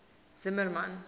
zimmermann